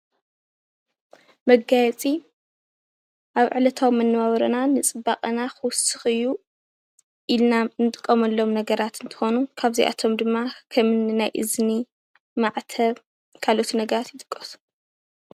መጋየፂ ኣብ ዕለታዊ መነባብሮና ንፅባቐና ክውስኽ እዩ ኢልና ንጥቀመሎም ነገራት እንትኾኑ ካብዚኣቶም ድማ ከምኒ ናይ እዝኒ ፣ማዕተብ ካልኦት ነገራት ይጥቀሱ ።